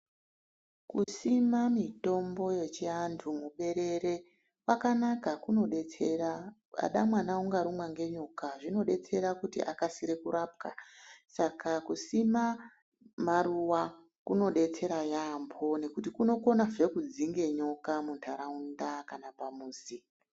Kusima mitombo yechivantu muberere kwakanaka kunodetsera , pada mwana ukarumwa ngenyoka zvinodetsera kuti akasire kurapwa saka kusima maruwa kunodetsera yambo nekuti kunokonazve kudzinge nyika pantaraunda kana pamuzi.